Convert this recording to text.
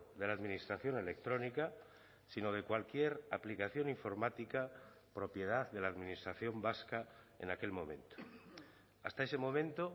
de la administración electrónica sino de cualquier aplicación informática propiedad de la administración vasca en aquel momento hasta ese momento